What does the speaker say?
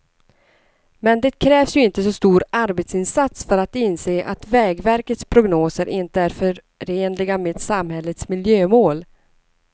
Men det krävs ju inte så stor arbetsinsats för att inse att vägverkets prognoser inte är förenliga med samhällets miljömål.